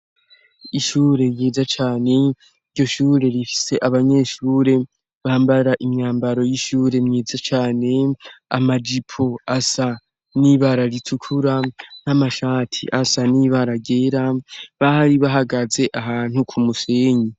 Ishure ryeza cane ryo shure rifise abanyeshure bambara imyambaro y'ishure myeza cane amajipo asa n'ibararitukura n'amashati asa n'ibaragera bahari bahagaze ahantu ku musenyi.